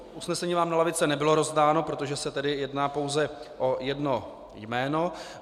Usnesení vám na lavice nebylo rozdáno, protože se tedy jedná pouze o jedno jméno.